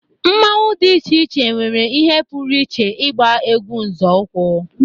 Mmanwu dị iche iche nwere ihe pụrụ iche ịgba egwu nzọụkwụ